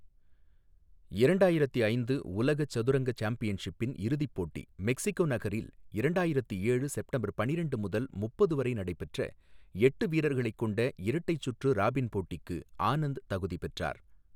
இரண்டாயிரத்து ஐந்து உலக சதுரங்க சாம்பியன்ஷிப்பின் இறுதிப் போட்டி மெக்சிகோ நகரில் இரண்டாயிரத்து ஏழு செப்டம்பர் பன்னிரண்டு முதல் முப்பது வரை நடைபெற்ற எட்டு வீரர்களைக் கொண்ட இரட்டை சுற்று ராபின் போட்டிக்கு ஆனந்த் தகுதி பெற்றார்.